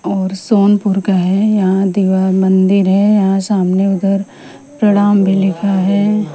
और सोनपुर का हैं यहां दीवार मंदिर हैं यहां सामने उधर प्रणाम भी लिखा हैं।